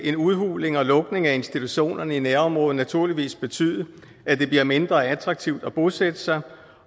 en udhuling og lukning af institutionerne i nærområdet naturligvis betyde at det bliver mindre attraktivt at bosætte sig